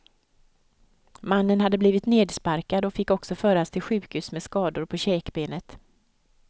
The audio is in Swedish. Mannen hade blivit nedsparkad och fick också föras till sjukhus med skador på käkbenet.